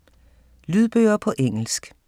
Lydbøger på engelsk